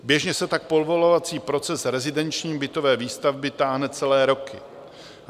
Běžně se tak povolovací proces rezidenční bytové výstavby táhne celé roky.